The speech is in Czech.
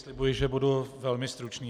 Slibuji, že budu velmi stručný.